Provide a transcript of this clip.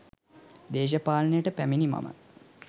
දේශපාලනයට පැමිණි මම